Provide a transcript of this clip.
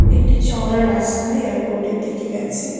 একটি চওড়া রাস্তা এয়ারপোর্টের দিকে গেছে।